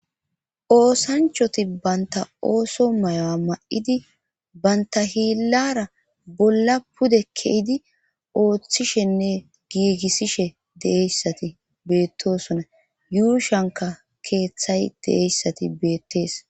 Oosanchoti banta ooso mayoa ma7idi banta hiillara bolla pude keidi ooththishenne giigissishe deeyssati beettosona yuushanka keeththay deeyssati beettees.